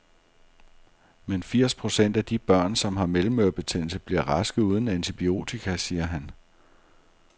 Men firs procent af de børn, som har mellemørebetændelse, bliver raske uden antibiotika, siger han.